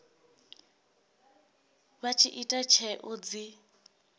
vha tshi ita tsheo dzi